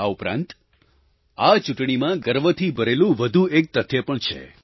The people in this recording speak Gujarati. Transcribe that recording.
આ ઉપરાંત આ ચૂંટણીમાં ગર્વથી ભરેલું વધુ એક તથ્ય પણ છે